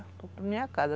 Vou para minha casa.